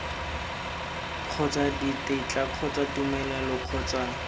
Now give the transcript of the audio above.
kgotsa ditetla kgotsa tumelelo kgotsa